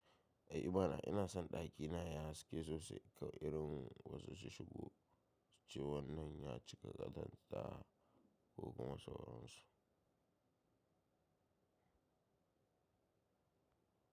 Ehmana ina son ɗakina yayi haske sosai irin wasu su shigo cewan nan ya cika ƙazanta ko kuma sauransu.